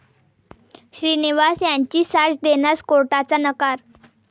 श्रीनिवासन यांची साक्ष देण्यास कोर्टाचा नकार